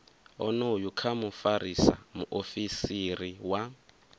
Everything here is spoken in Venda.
onoyu kha mufarisa muofisiri wa